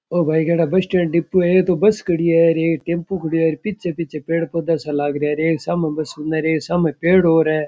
ओ भाई केडा बस स्टैंड डिपो है एक बस खड़ी है एक टेम्पो खड़ी है पीछे पीछे पेड़ पौधा सा लाग रहा है एक सामे पेड़ और है।